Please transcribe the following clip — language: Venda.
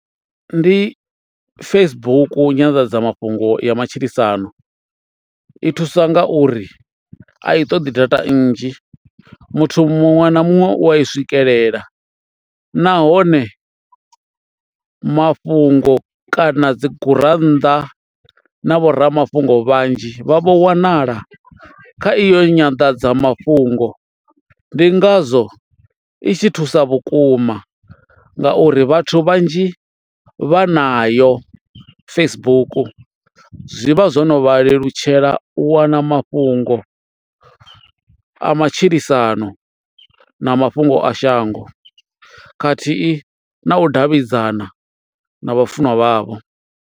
Ndi Facebook nyanḓadzamafhungo ya matshilisano i thusa ngauri a i ṱoḓi data nnzhi muthu muṅwe na muṅwe u i swikelela nahone mafhungo kana dzi gurannḓa na vho ramafhungo vhanzhi vha vho wanala kha iyo nyanḓadzamafhungo ndi ngazwo i tshi thusa vhukuma ngauri vhathu vhanzhi vha nayo Facebook, zwi vha zwo no vha lelutshela u wana mafhungo a matshilisano na mafhungo a shango khathihi na u davhidzana na vhafunwa vhavho.